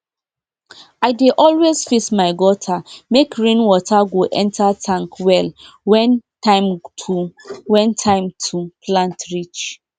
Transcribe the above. i dey always fix my gutter make rain water go enter tank well when time to when time to plant reach